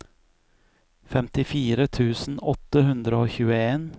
femtifire tusen åtte hundre og tjueen